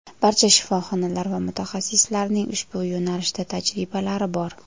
Barcha shifoxonalar va mutaxassislarning ushbu yo‘nalishda tajribalari bor.